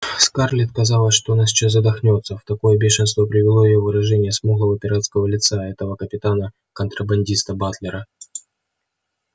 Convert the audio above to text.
скарлетт казалось что она сейчас задохнётся в такое бешенство привело её выражение смуглого пиратского лица этого капитана-контрабандиста батлера